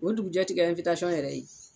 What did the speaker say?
O dugujɛ ti kɛ ɛnwitasiyɔn yɛrɛ ye